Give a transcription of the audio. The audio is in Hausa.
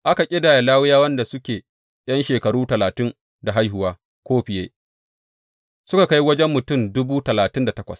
Aka ƙidaya Lawiyawan da suke ’yan shekaru talatin da haihuwa ko fiye, suka kai wajen mutum dubu talatin da takwas.